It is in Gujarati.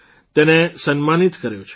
તેને સન્માનિત કર્યો છે